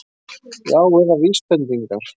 Já, eða VÍSbendingar!